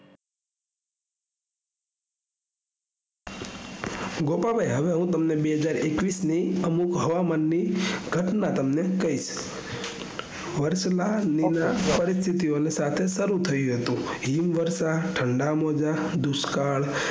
ગોપાભાઈ હવે હું તમને બેહજારએકવીસ ની અમુક હવામાન ની ઘટના તમને કઈશ વર્ષ ના લીલા પસ્થિતિ સાથે સારું થયું હતું હિમ વર્ષા ઠંડા મોજા દુષ્કાળ